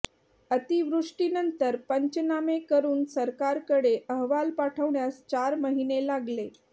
अतिवृष्टीनंतर पंचनामे करून सरकारकडे अहवाल पाठवण्यास चार महिने लागले